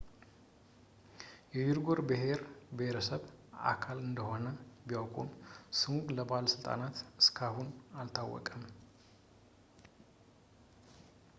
የዩጎርስ ብሄረሰብ አባል እንደሆነ ቢያውቁም ስሙ ለባለሥልጣናት እስካሁን አልታወቀም